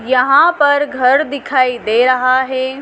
यहाँ पर घर दिखाई दे रहा है।